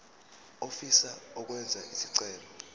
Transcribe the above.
ofisa ukwenza isicelo